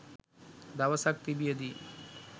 දවසක් තිබියදී